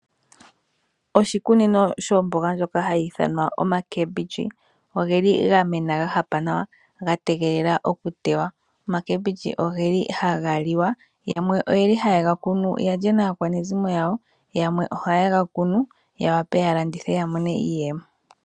Oshikunino shomboga Oya mena ya hapa nawa ya tegelela okuteywa. Omboga ndjika ohayi liwa. Yamwe ohaye yi kunu ya lye naakwanezimo yawo, yamwe ohaye yi kunu ya wape ya landithe ya mone iiyemo.